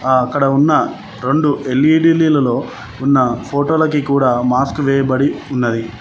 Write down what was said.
ఆ అక్కడ ఉన్న రెండు ఎల్_ఈ_డి లలో ఉన్న ఫోటోలకి కూడా మాస్క్ వేయబడి ఉన్నది.